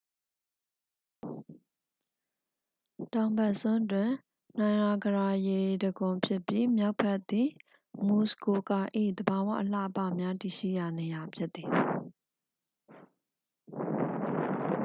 တောင်ဘက်စွန်းသည် နိုင်ရာဂရာရေတံခွန်ဖြစ်ပြီး မြောက်ဘက်သည် မူဆ်ကိုကာ၏ သဘာဝအလှအပများတည်ရှိရာနေရာ ဖြစ်သည်